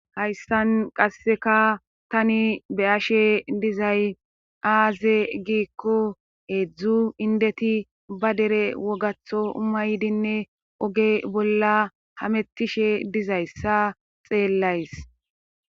hayssan qasseka tani be ashe dizay aaze giikko heedzdzu indeti ba dere wogatho umaydinne oge bolla hamettishe dizayssa xeellays